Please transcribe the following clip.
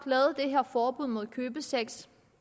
har forbud mod købesex